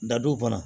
Dadow kɔnɔ